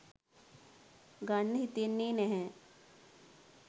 ගන්න හිතෙන්නේ නැහැ.